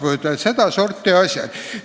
Nii et seda sorti asjad.